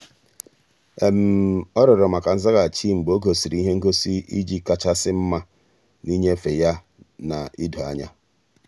ọ́ rịọ̀rọ̀ maka nzaghachi mgbe ọ́ gọ́sị́rị́ ihe ngosi iji kàchàsị́ mma n’ínyéfe ya na idoanya.